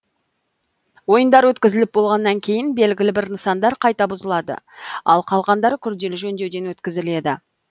ойындар өткізіліп болғаннан кейін белгілі бір нысандар қайта бұзылады ал қалғандары күрделі жөндеуден өткізіледі